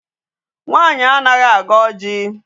Nwaanyị anaghị agọ ọjị.